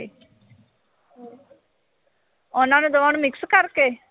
ਉਨ੍ਹਾਂ ਨੂੰ ਦੋਵਾਂ ਨੂੰ mix ਕਰਕੇ?